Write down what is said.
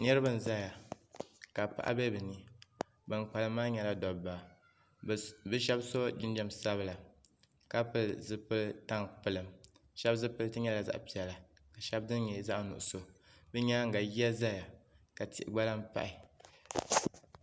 Niriba n zaya ka paɣa be bɛ ni ban kpalim maa nyɛla dobba bɛ sheba so jinjiɛm sabila ka pili zipil'tampilim sheba zipiliti nyɛla zaɣa piɛla ka sheba dini nyɛ zaɣa nuɣuso bɛ nyaanga yiya zaya ka tihi gba lahi pahi.